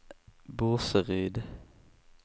Burseryd